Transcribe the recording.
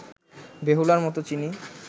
বেহুলার মতো চিনি